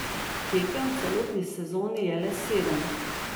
Tekem v celotni sezoni je le sedem.